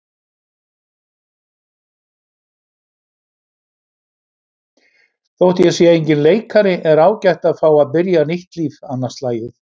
Þótt ég sé enginn leikari er ágætt að fá að byrja nýtt líf annað slagið.